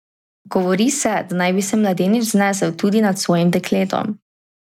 Govori se, da naj bi se mladenič znesel tudi nad svojim dekletom.